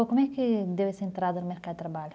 Como é que deu essa entrada no mercado de trabalho?